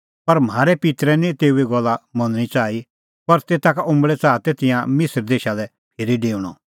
पर म्हारै पित्तरै निं तेऊए गल्ला मनणी च़ाही पर तेता का उंबल़ै च़ाहा तै तिंयां मिसर देशा लै फिरी डेऊणअ